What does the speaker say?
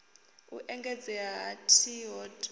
u engedzea ha t hod